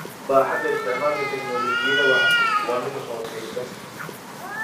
Baaxadda isticmaalka tignoolajiyada waa mid hooseeya.